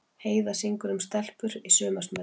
Heiða syngur um stelpur í sumarsmelli